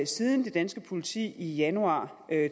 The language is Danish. siden det danske politi i januar